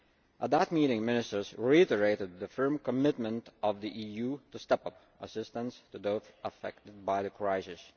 At that meeting Ministers reiterated the firm commitment of the EU to step up assistance to those affected by the crisis.